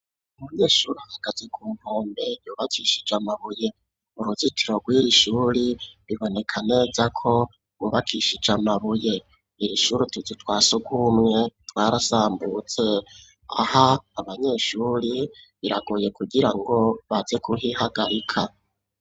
Umunyeshuri ahagaze ku nkombe yubakishije amabuye uruzitiro rwiri shuri riboneka neza ko hubakishije amabuye irishuri utuzu twasugumwe twarasambutse aha abanyeshuri biragoye kugira ngo baze kuhihagarika.